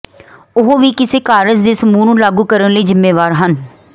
ਉਹ ਵੀ ਇਸੇ ਕਾਰਜ ਦੇ ਸਮੂਹ ਨੂੰ ਲਾਗੂ ਕਰਨ ਲਈ ਜ਼ਿੰਮੇਵਾਰ ਹਨ